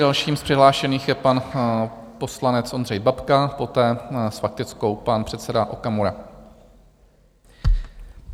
Dalším z přihlášených je pan poslanec Ondřej Babka, poté s faktickou pan předseda Okamura.